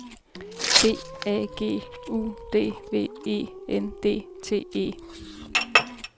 B A G U D V E N D T E